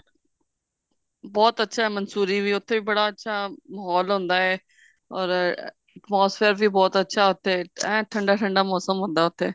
ਬਹੁਤ ਅੱਛਾ ਹੈ ਮੰਸੂਰੀ ਵੀ ਉੱਥੇ ਵੀ ਬੜਾ ਅੱਛਾ ਮਹੋਲ ਹੁੰਦਾ ਹੈ or atmosphere ਵੀ ਬਹੁਤ ਅੱਛਾ ਉੱਥੇ ਐਂ ਠੰਡਾ ਠੰਡਾ ਮੋਸਮ ਹੁੰਦਾ ਉੱਥੇ